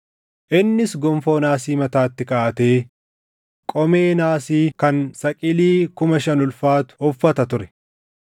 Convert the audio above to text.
Innis gonfoo naasii mataatti kaaʼatee qomee naasii kan saqilii kuma shan ulfaatu uffata ture;